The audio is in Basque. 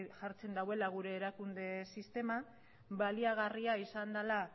jartzen dauela gure erakunde sistema baliagarria izan dela